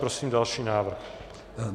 Prosím další návrh.